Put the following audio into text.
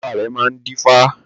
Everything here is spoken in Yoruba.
Bàbá rẹ̀ máa ń dífá